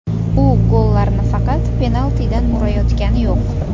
U gollarni faqat penaltidan urayotgani yo‘q.